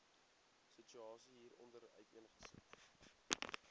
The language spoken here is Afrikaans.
situasie hieronder uiteengesit